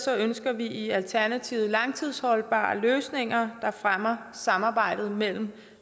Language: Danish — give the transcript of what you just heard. ønsker vi i alternativet langtidsholdbare løsninger der fremmer samarbejdet mellem